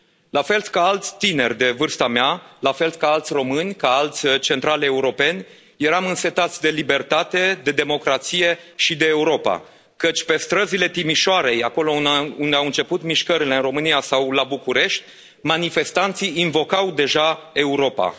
La fel ca alți tineri de vârsta mea, la fel ca alți români, ca alți central europeni, eram însetați de libertate, de democrație și de Europa, căci pe străzile Timișoarei, acolo unde au început mișcările în România, sau la București, manifestanții invocau deja Europa.